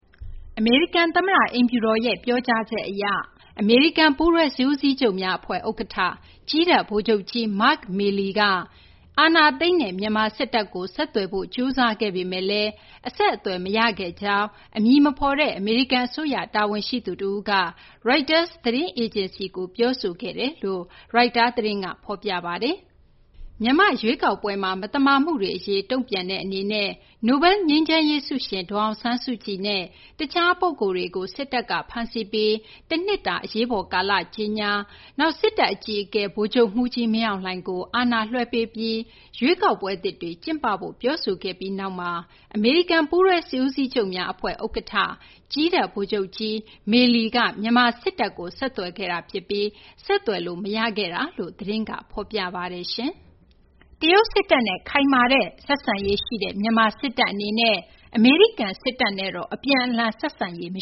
အမေရိကန် သမ္မတ အိမ်ဖြူတော်ရဲ့ ပြောဆိုချက် အရ အမေရိကန် ပူးတွဲစစ်ဦးစီးချုပ်များ အဖွဲ့ ဥက္ကဌ ကြည်းတပ် ဗိုလ်ချုပ်ကြီး Mark Milley က အာဏာသိမ်းတဲ့ မြန်မာ စစ်တပ်ကို ဆက်သွယ်ဖို့ ကြိုးစားခဲ့ပေမယ့်လည်း ဆက်သွယ်လို့ မရခဲ့ကြောင်း အမည်မဖော်တဲ့ အမေရိကန် အစိုးရ တာဝန်ရှိသူတဦးက ရိုက်တာ သတင်းအေဂျင်စီကို ပြောဆိုခဲ့ကြောင်း ရိုက်တာ သတင်းက ဖော်ပြပါတယ်။ မြန်မာ့ ရွေးကောက်ပွဲမှာ မသမာမှုတွေ အရေး တုံ့ပြန်တဲ့ အနေနဲ့ နိုဘဲလ်ငြိမ်းချမ်းရေး ဆုရှင် ဒေါ်အောင်ဆန်းစုကြည်နဲ့ တခြား ပုဂ္ဂိုလ်တွေကို စစ်တပ်က ဖမ်းဆီးပြီး တနှစ်တာ အရေးပေါ် ကာလ ကြေညာ၊ နောက် စစ်တပ် အကြီးအကဲ ဗိုလ်ချုပ်မှူးကြီး မင်းအောင်လှိုင်ကို အာဏာလွှဲပေးပြီး ရွေးကောက်ပွဲသစ်တွေ ကျင်းပဖို့ ပြောဆိုခဲ့ပြီးနောက်မှာ အမေရိကန် ပူးတွဲစစ်ဦးစီးချုပ်များ အဖွဲ့ ဥက္ကဌ ကြည်းတပ် ဗိုလ်ချုပ်ကြီး Milley က မြန်မာ စစ်တပ်ကို ဆက်သွယ်ခဲ့တာ ဖြစ်ပြီး ဆက်သွယ်လို့ မရခဲ့တာလို့ သတင်းက ဖော်ပြပါတယ်။ တရုတ် စစ်တပ်နဲ့ ဆက်ဆံရေး ခိုင်မာတဲ့ မြန်မာ စစ်တပ်ဟာ အမေရိကန် စစ်တပ်နဲ့ အပြန်အလှန် ဆက်ဆံရေး မ